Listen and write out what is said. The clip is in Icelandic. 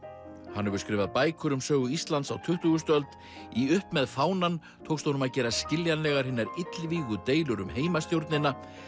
hann hefur skrifað bækur um sögu Íslands á tuttugustu öld í upp með fánann tókst honum að gera skiljanlegar hinar illvígu deilur um heimastjórnina